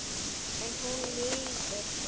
En hún er liðug.